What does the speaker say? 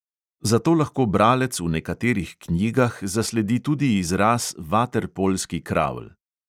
Zato lahko bralec v nekaterih knjigah zasledi tudi izraz vaterpolski kravl.